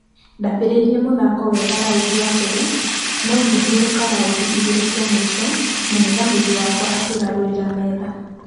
Ndambereire mũthako wega raundi ya mbere nũ ngĩhurũka raundi igĩrĩ cia mũisho mũngethanĩri wakwa akĩgarũrĩra metha.